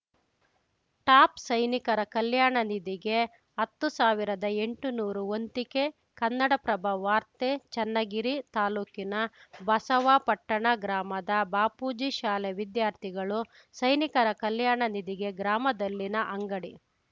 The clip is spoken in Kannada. ಟಾಪ್‌ ಸೈನಿಕರ ಕಲ್ಯಾಣ ನಿಧಿಗೆ ಹತ್ತು ಸಾವಿರದ ಎಂಟುನೂರು ವಂತಿಕೆ ಕನ್ನಡಪ್ರಭ ವಾರ್ತೆ ಚನ್ನಗಿರಿ ತಾಲೂಕಿನ ಬಸವಾಪಟ್ಟಣ ಗ್ರಾಮದ ಬಾಪೂಜಿ ಶಾಲೆ ವಿದ್ಯಾರ್ಥಿಗಳು ಸೈನಿಕರ ಕಲ್ಯಾಣ ನಿಧಿಗೆ ಗ್ರಾಮದಲ್ಲಿನ ಅಂಗಡಿ